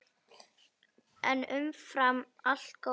En umfram allt góður vinur.